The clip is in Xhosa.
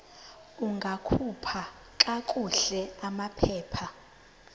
ungakhupha kakuhle amaphepha